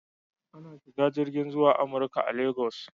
Ana shiga jirgin zuwa Amurka a Legas.